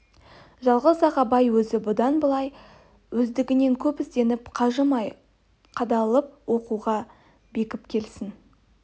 жалғыз-ақ абай өзі бұдан былай өздігінен көп ізденіп қажымай қадалып оқуға бекіп келсін